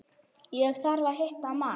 Ég þarf að hitta mann.